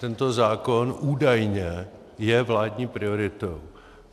Tento zákon je údajně vládní prioritou.